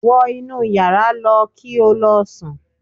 Wọ inú yàrá lọ kí ó lọ sùn!